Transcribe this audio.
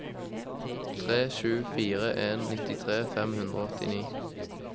tre sju fire en nittitre fem hundre og åttini